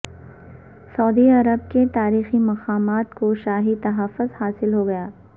سعودی عرب کے تاریخی مقامات کو شاہی تحفظ حاصل ہوگیا